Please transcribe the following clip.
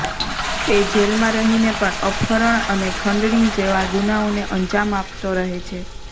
તે જેલમાં રહીને પણ અપહરણ અને ખંડણી જેવા ગુનાઓને અંજામ આપતો રહે છે